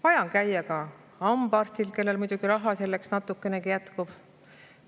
Vaja on käia ka hambaarstil, kui raha selleks natukenegi jätkub.